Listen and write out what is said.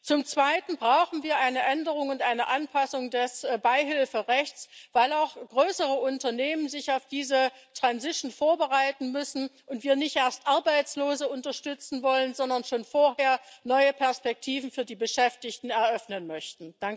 Zum Zweiten brauchen wir eine Änderung und eine Anpassung des Beihilferechts, weil auch größere Unternehmen sich auf diesen Übergang vorbereiten müssen und wir nicht erst Arbeitslose unterstützen wollen, sondern schon vorher neue Perspektiven für die Beschäftigten eröffnen möchten.